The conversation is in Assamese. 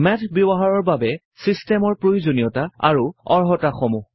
মেথ ব্যৱহাৰৰ বাবে ছিষ্টেমৰ প্ৰয়োজনীয়ত আৰু অৰ্হতাসমূহ